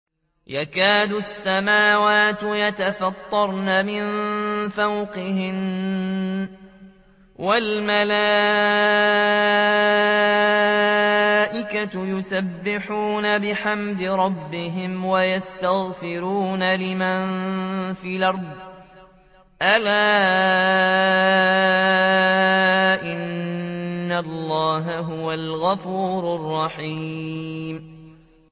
تَكَادُ السَّمَاوَاتُ يَتَفَطَّرْنَ مِن فَوْقِهِنَّ ۚ وَالْمَلَائِكَةُ يُسَبِّحُونَ بِحَمْدِ رَبِّهِمْ وَيَسْتَغْفِرُونَ لِمَن فِي الْأَرْضِ ۗ أَلَا إِنَّ اللَّهَ هُوَ الْغَفُورُ الرَّحِيمُ